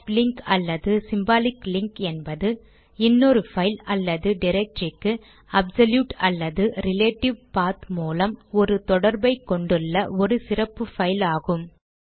soft link அல்லது symbolic link என்பது இன்னொரு பைல் அல்லது டிரக்டரிக்கு அப்சொலூட் அல்லது ரிலேடிவ் பாத் மூலம் ஒரு தொடர்பை கொண்டுள்ள ஒரு சிறப்பு பைல் ஆகும்